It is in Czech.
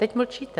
Teď mlčíte.